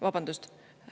Vabandust!